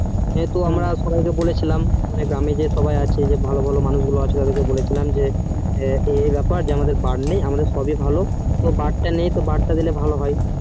যেহুতো আমরা সবাই কে বলেছিলাম গ্রামের যে আছে ভালো ভালো মানুষ জন ওদেরকে বলেছিলাম যে ওই ব্যাপার বার নেই বার তা নেই বার তা দিলে ভালো হয়